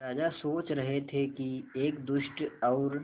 राजा सोच रहे थे कि एक दुष्ट और